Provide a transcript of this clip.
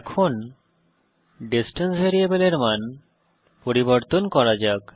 এখন ডিসট্যান্স ভ্যারিয়েবলের মান পরিবর্তন করা যাক